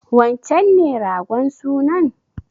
Wancen ne ragon sunan?